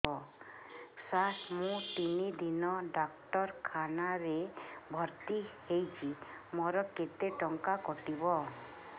ସାର ମୁ ତିନି ଦିନ ଡାକ୍ତରଖାନା ରେ ଭର୍ତି ହେଇଛି ମୋର କେତେ ଟଙ୍କା କଟିବ